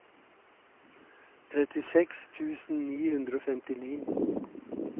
trettiseks tusen ni hundre og femtini